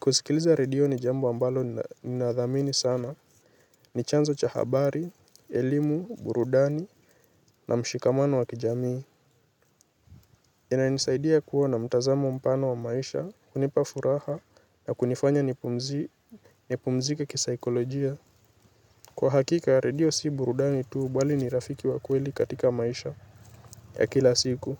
kusikiliza redio ni jambo ambalo ni nadhamini sana. Ni chanzo cha habari, elimu, burudani, na mshikamano wa kijamii yana nisaidia kuwa na mtazamo mpano wa maisha, kunipa furaha na kunifanya nipumzi, nipumzike kisaikolojia. Kwa hakika redio si burudani tu bali ni rafiki wa kweli katika maisha ya kila siku.